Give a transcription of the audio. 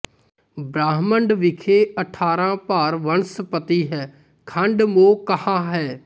ਬ੍ਰਹਮੰਡ ਬਿਖੈ ਅਠਾਰਹ ਭਾਰ ਵਣਸਪਤੀ ਹੈ ਖੰਡ ਮੋ ਕਹਾ ਹੈ